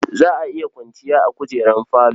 Za a iya kwanciya a kujerun falo.